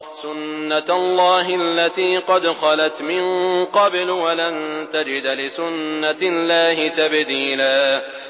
سُنَّةَ اللَّهِ الَّتِي قَدْ خَلَتْ مِن قَبْلُ ۖ وَلَن تَجِدَ لِسُنَّةِ اللَّهِ تَبْدِيلًا